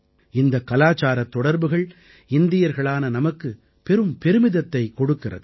இந்தக் கலாச்சாரத் தொடர்புகள் இந்தியர்களான நமக்கு பெரும் பெருமிதத்தைக் கொடுக்கிறது